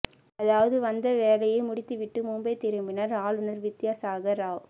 அதாவது வந்த வேலையை முடித்துவிட்டு மும்பை திரும்பினார் ஆளுநர் வித்யா சாகர் ராவ்